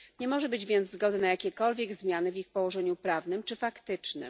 Nie może być więc zgody na jakiekolwiek zmiany w ich położeniu prawnym czy faktycznym.